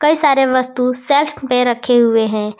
कई सारे वस्तु सेल्फ में रखें हुए हैं।